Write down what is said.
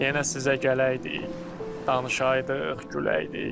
Yenə sizə gələydik, danışaydıq, güləydik.